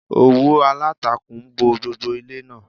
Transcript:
Òwú aláǹtakùn bo gbogbo ilé náà.